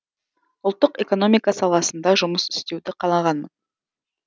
ұлттық экономика саласында жұмыс істеуді қалағанмын